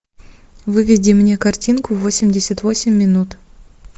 выведи мне картинку восемьдесят восемь минут